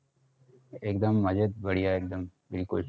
एकदम मजेत बढिया एकदम दिलखुश.